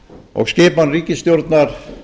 og skipan ríkisstjórnar